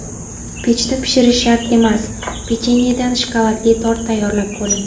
Pechda pishirish shart emas: Pechenyedan shokoladli tort tayyorlab ko‘ring.